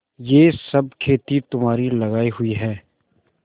यह सब खेती तुम्हारी लगायी हुई है